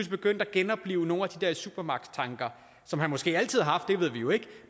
begyndte at genoplive nogle af de der supermagtstanker som han måske altid har det ved vi jo ikke